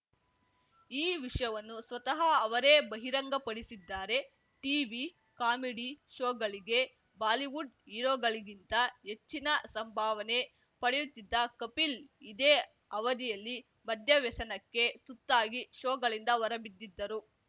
ಈ ವಿಷಯವನ್ನು ಸ್ವತಃ ಅವರೇ ಬಹಿರಂಗಪಡಿಸಿದ್ದಾರೆ ಟೀವಿ ಕಾಮಿಡಿ ಶೋಗಳಿಗೆ ಬಾಲಿವುಡ್‌ ಹೀರೋಗಳಿಗಿಂತ ಹೆಚ್ಚಿನ ಸಂಭಾವನೆ ಪಡೆಯುತ್ತಿದ್ದ ಕಪಿಲ್‌ ಇದೇ ಅವಧಿಯಲ್ಲಿ ಮದ್ಯವ್ಯಸನಕ್ಕೆ ತುತ್ತಾಗಿ ಶೋಗಳಿಂದ ಹೊರಬಿದ್ದಿದ್ದರು